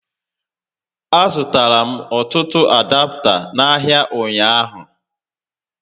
A zụtara m ọtụtụ adapta n'ahịa ụnyaahụ